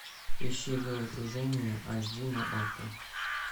ищи головокружение аш ди на окко